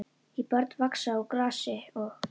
Því börn vaxa úr grasi og.